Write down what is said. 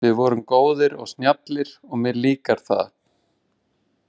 Við vorum góðir og snjallir og mér líkar það.